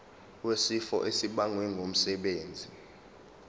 wesifo esibagwe ngumsebenzi